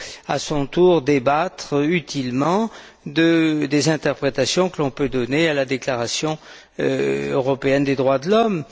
à leur tour, débattre utilement des interprétations que l'on peut donner à une Déclaration européenne des droits de l'homme.